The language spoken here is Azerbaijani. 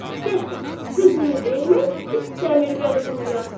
Dəxə, qızını vermək istəmir Vəliquluya.